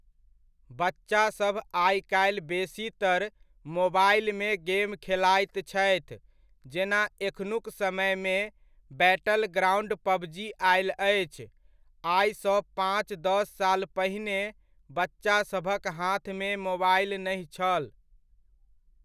बच्चासभ आइकाल्हि बेसीतर मोबाइलमे गेम खेलाइत छथि जेना एखनुक समयमे बैटल ग्राउण्ड पबजी आयल अछि। आइसँ पाँच दस साल पहिने बच्चासभक हाथमे मोबाइल नहि छल।